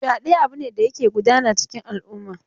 Fyaɗe abu ne da yake gudana a cikin al'umma.